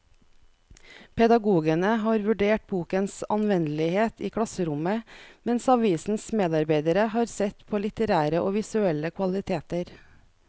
Pedagogene har vurdert bokens anvendelighet i klasserommet, mens avisens medarbeidere har sett på litterære og visuelle kvaliteter.